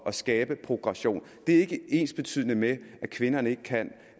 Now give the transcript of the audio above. at skabe progression det er ikke ensbetydende med at kvinderne ikke kan